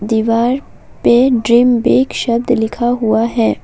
दीवार पे dream big शब्द लिखा हुआ है।